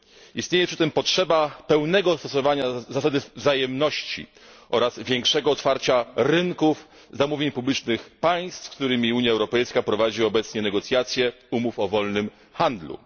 Istnieje przy tym potrzeba pełnego stosowania zasady wzajemności oraz większego otwarcia rynków zamówień publicznych państw, z którymi Unia Europejska prowadzi obecnie negocjacje nad umowami o wolnym handlu.